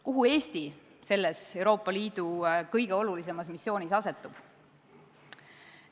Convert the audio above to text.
Kuhu Eesti selles Euroopa Liidu kõige olulisemas missioonis asetub?